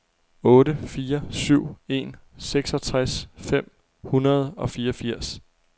otte fire syv en seksogtres fem hundrede og fireogfirs